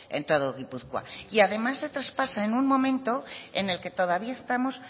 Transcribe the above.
en todo gipuzkoa y además se traspasa en un momento en el que todavía estamos